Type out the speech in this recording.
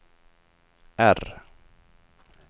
R